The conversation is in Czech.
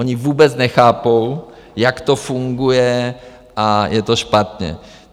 Oni vůbec nechápou, jak to funguje, a je to špatně.